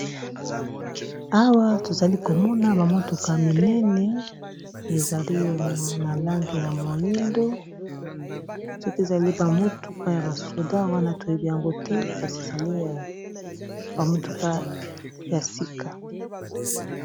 Awa tozali komona ba motuka minene ezali na langi ya moyindo soki ezali ba motuka ya ba soda wana toyebi yango te kasi ezali ba motuka ya sika.